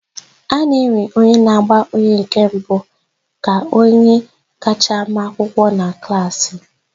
A na-ewe onye na-agba onye nke mbụ ka onye kacha ma akwụkwọ na klaasị.